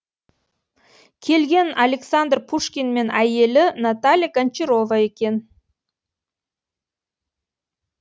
келген александр пушкин мен әйелі наталья гончарова екен